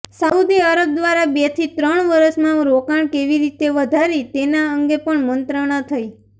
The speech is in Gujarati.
સાઉદી અરબ દ્વારા બેથી ત્રણ વર્ષમાં રોકાણ કેવી રીતે વધારી તેના અંગે પણ મંત્રણા થઇ